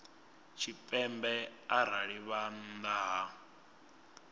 tshipembe arali vha nnḓa ha